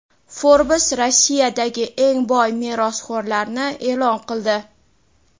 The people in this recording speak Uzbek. Forbes Rossiyadagi eng boy merosxo‘rlarni e’lon qildi.